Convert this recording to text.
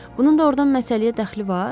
Bunun doğrudan məsələyə dəxli var?